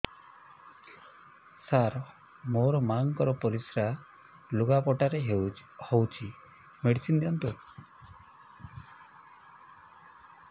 ସାର ମୋର ମାଆଙ୍କର ପରିସ୍ରା ଲୁଗାପଟା ରେ ହଉଚି ମେଡିସିନ ଦିଅନ୍ତୁ